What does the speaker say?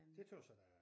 Men det tøs jeg da er